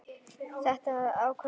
Þetta verður ákveðið mjög fljótt.